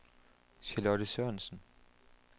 Charlotte Sørensen